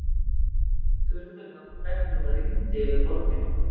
Furðulegum fregnum rigndi yfir borgina.